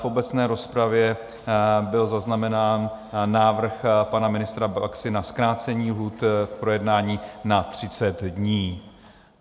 V obecné rozpravě byl zaznamenán návrh pana ministra Baxy na zkrácení lhůty k projednání na 30 dní.